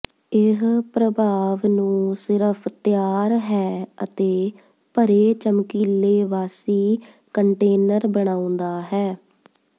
ਇਹ ਪ੍ਰਭਾਵ ਨੂੰ ਸਿਰਫ ਤਿਆਰ ਹੈ ਅਤੇ ਭਰੇ ਚਮਕੀਲੇ ਵਾਸੀ ਕੰਟੇਨਰ ਬਣਾਉਦਾ ਹੈ